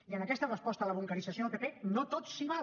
i en aquesta resposta a la bunquerització del pp no tot s’hi val